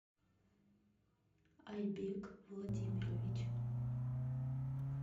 альбек владимирович